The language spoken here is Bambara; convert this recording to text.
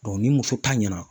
ni muso ta ɲɛna